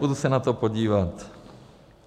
Půjdu se na to podívat.